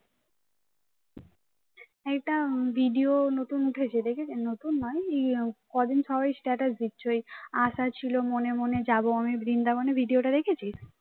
একটা video নতুন উঠেছে দেখেছিস নতুন নয় এই কদিন সবাই status দিচ্ছে ওই আশা ছিল মনে মনে যাব আমি বৃন্দাবনে video টা দেখেছিস